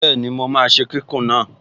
Bẹ́ẹ̀ni, mo máa ṣe kíkùn náà